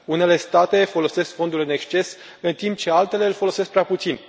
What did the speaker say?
Unele state folosesc fonduri în exces, în timp ce altele îl folosesc prea puțin.